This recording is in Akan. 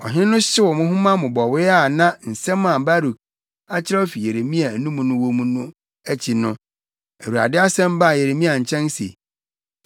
Ɔhene no hyew nhoma mmobɔwee a na nsɛm a Baruk akyerɛw afi Yeremia anum wɔ mu no akyi no, Awurade asɛm baa Yeremia nkyɛn se,